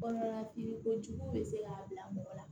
Kɔnɔna i kojugu bɛ se k'a bila mɔgɔ la